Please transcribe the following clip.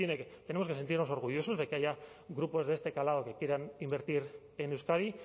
que tenemos que sentirnos orgullosos de que haya grupos de este calado que quieran invertir en euskadi